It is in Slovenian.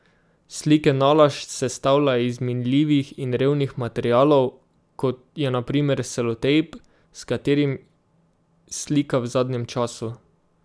Slike nalašč sestavlja iz minljivih in revnih materialov, kot je na primer selotejp, s katerim slika v zadnjem času.